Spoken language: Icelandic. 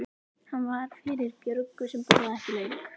Hann var fyrir Björgu sem borðaði ekki lauk.